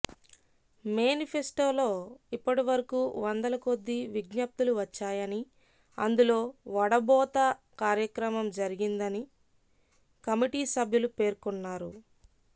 మేనిఫెస్టోలో ఇప్పటివరకు వందల కొద్దీ విజ్ఞప్తులు వచ్చాయని అందులో వడబోత కార్యక్రమం జరిగిందని కమిటీ సభ్యులు పేర్కొన్నారు